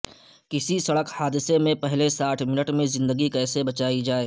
کسی سڑک حادثے میں پہلے ساٹھ منٹ میں زندگی کیسے بچائی جائے